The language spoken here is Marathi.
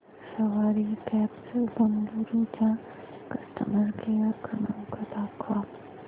सवारी कॅब्झ बंगळुरू चा कस्टमर केअर क्रमांक दाखवा